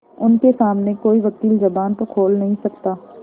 उनके सामने कोई वकील जबान तो खोल नहीं सकता